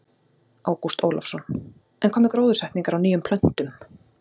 Ágúst Ólafsson: En hvað með gróðursetningar á nýjum plöntum?